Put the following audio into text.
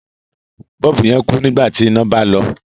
Bọ́ọ̀bù yẹn kú nígbà tí iná bá lọ.